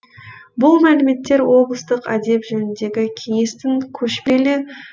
бұл мәліметтер облыстық әдеп жөніндегі кеңестің көшпелі отырысында айтылды